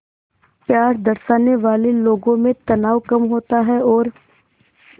प्यार दर्शाने वाले लोगों में तनाव कम होता है और